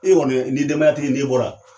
E kɔni , n'i ye denbayatigi ye, n'e bɔra